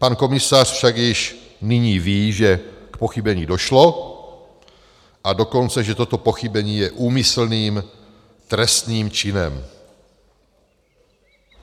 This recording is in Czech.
Pan komisař však již nyní ví, že k pochybení došlo, a dokonce že toto pochybení je úmyslným trestným činem.